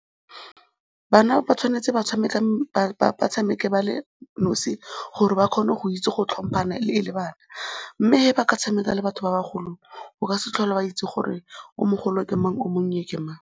Bana ba tshwanetse ba tshameke ba le nosi gore ba kgone go itse go tlhomphana e le bana mme fa ba ka tshameka le batho ba bagolo, o ka se tlhole wa itse gore o mogolo ke mang, o monnye ke mang.